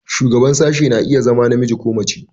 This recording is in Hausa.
Shugaban sashen na iya zama namiji ko mace.